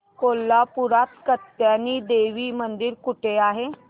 कोल्हापूरात कात्यायनी देवी मंदिर कुठे आहे